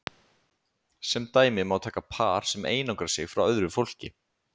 Sem dæmi má taka par sem einangrar sig frá öðru fólki.